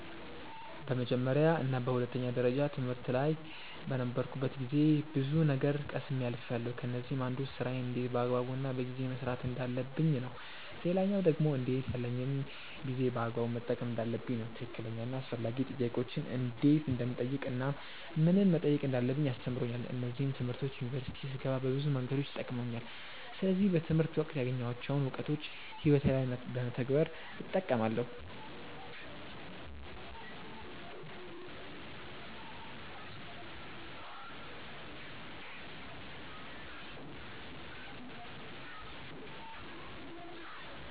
በመጀመርያ እና በሁለተኛ ደረጃ ትምህርት ላይ በነበርኩበት ጊዜ ብዙ ነገር ቀስሜ አልፍያለው። ከነዚህም አንዱ ስራዬን እንዴት በአግባቡ እና በጊዜ መስራት እንዳለብኝ ነው። ሌላኛው ደግሞ እንዴት ያለኝን ጊዜ በአግባቡ መጠቀም እንዳለብኝ ነው። ትክክለኛ እና አስፈላጊ ጥያቄዎችን እንዴት እንደምጠይቅ እናም ምንን መጠየቅ እንዳለብኝ አስተምሮኛል። እነዚህም ትምህርቶች ዩኒቨርሲቲ ስገባ በብዙ መንገዶች ጠቅመውኛል። ስለዚህ በትምህርት ወቅት ያገኘኋቸውን እውቀቶች ህይወቴ ላይ በመተግበር እጠቀማለው።